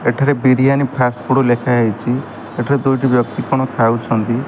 ଏଠାରେ ବିରିୟାନୀ ଫାଷ୍ଟଫୁଡ୍ ଲେଖା ହେଇଚି ଏଠାରେ ଦୁଇଟି ବ୍ୟକ୍ତି କଣ ଖାଉଛନ୍ତି।